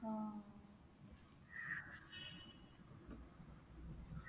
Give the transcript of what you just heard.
ആ